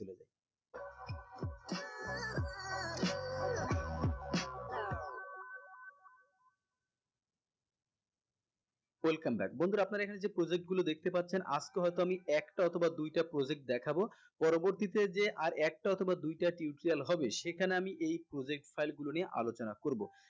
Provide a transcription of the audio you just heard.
welcome back বন্ধুরা আপনারা এখানে যে project গুলো দেখতে পাচ্ছেন আজকে হয়তো আমি একটা অথবা দুইটা project দেখাবো পরবর্তী তে যে আর একটা অথবা দুইটা tutorial হবে সেখানে আমি এই project file গুলো নিয়ে আলোচনা করবো